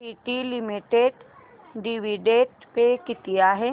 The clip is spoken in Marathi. टीटी लिमिटेड डिविडंड पे किती आहे